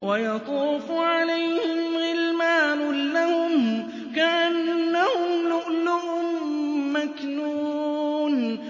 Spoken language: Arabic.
۞ وَيَطُوفُ عَلَيْهِمْ غِلْمَانٌ لَّهُمْ كَأَنَّهُمْ لُؤْلُؤٌ مَّكْنُونٌ